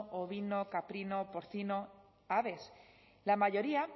ovino caprino porcino aves la mayoría